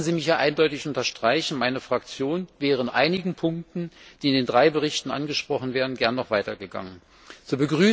Lassen Sie mich hier eindeutig unterstreichen, dass meine Fraktion in einigen Punkten, die in den drei Berichten angesprochen werden, gerne noch weitergegangen wäre.